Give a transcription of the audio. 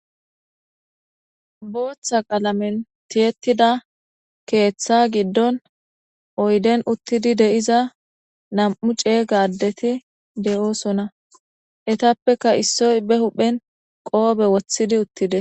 booththa qalamen tiyettida keeththa giddon oyden uttidi de7iza nam7u ceega addeti de7oosona etappeka issoy be huphen qoobe woththidi uttides.